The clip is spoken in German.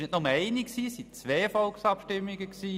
Es gab nämlich nicht nur eine!